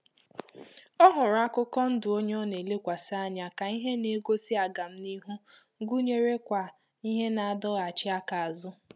Ọ hụrụ akụkọ ndụ onye ọ na elekwasi ànyà ka ihe na-egosi aga m n'ihu gụnyere kwa ihe na-adọghachi aka azụ